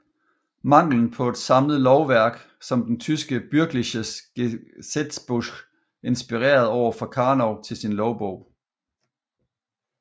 Manglen på et samlet lovværk som den tyske Bürgerliches Gesetzbuch inspirerede derfor Karnov til sin lovbog